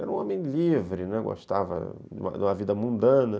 Era um homem livre, né, gostava de uma vida mundana.